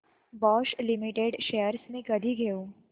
Bosch limited shares मी कधी घेऊ